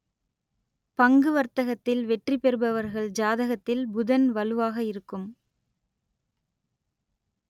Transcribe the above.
பங்கு வர்த்தகத்தில் வெற்றி பெறுபவர்கள் ஜாதகத்தில் புதன் வலுவாக இருக்கும்